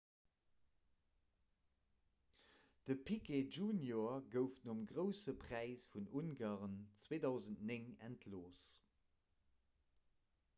de piquet jr gouf nom grousse präis vun ungarn 2009 entlooss